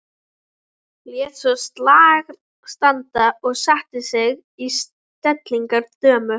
Lét svo slag standa og setti sig í stellingar dömu.